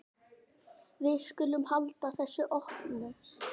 Við skulum halda þessu opnu.